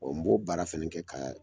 n b'o baara fana kɛ ka